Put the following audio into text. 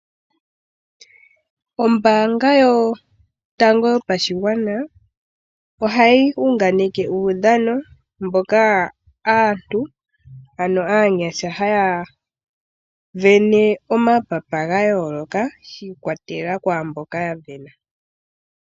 Ombaanga yotango yopashigwana ohayi unganeke uudhano mono aanyasha haya vene omapapa ga yooloka shi ikwatelela kwaamboka ya sindana.